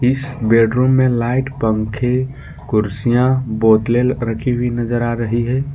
इस बेडरूम में लाइट पंखे कुर्सियां बोतले रखी हुई नजर आ रही है।